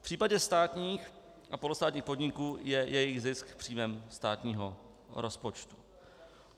V případě státních a polostátních podniků je jejich zisk příjmem státního rozpočtu.